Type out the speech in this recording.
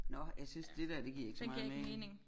Nå jeg synes dét der det giver ikke så meget mening